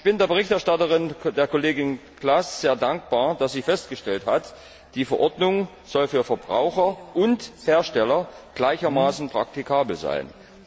Ich bin der Berichterstatterin, der Kollegin Klaß, sehr dankbar, dass sie festgestellt hat Die Verordnung soll für Verbraucher und Hersteller gleichermaßen praktikabel sein.